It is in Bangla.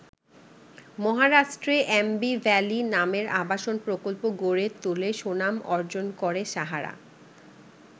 মহারাষ্ট্রে অ্যাম্বি ভ্যালি নামের আবাসন প্রকল্প গড়ে তুলে সুনাম অর্জন করে সাহারা।